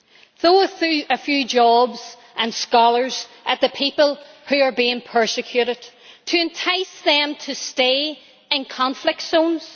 Throw a few jobs and scholars at the people who are being persecuted to entice them to stay in conflict zones?